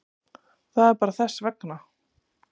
Það er bara þess vegna.